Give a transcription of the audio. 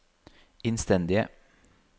innstendige